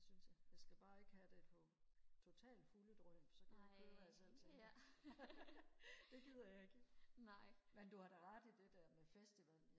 det synes jeg jeg skal bare ikke have det på totalt fulde drøn så kan jeg ikke høre hvad jeg selv tænker det gider jeg ikke men du har da ret i det der med festival